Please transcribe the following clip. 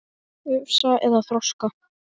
Ufsa eða þorska?